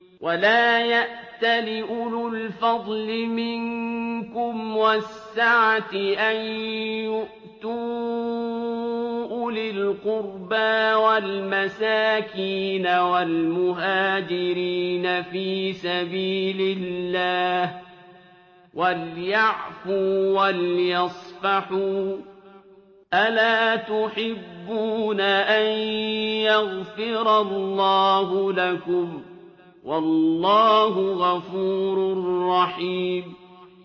وَلَا يَأْتَلِ أُولُو الْفَضْلِ مِنكُمْ وَالسَّعَةِ أَن يُؤْتُوا أُولِي الْقُرْبَىٰ وَالْمَسَاكِينَ وَالْمُهَاجِرِينَ فِي سَبِيلِ اللَّهِ ۖ وَلْيَعْفُوا وَلْيَصْفَحُوا ۗ أَلَا تُحِبُّونَ أَن يَغْفِرَ اللَّهُ لَكُمْ ۗ وَاللَّهُ غَفُورٌ رَّحِيمٌ